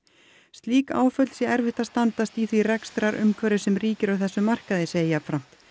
slík áföll sé erfitt að standast í því rekstrarumhverfi sem ríki á þessum markaði segir jafnframt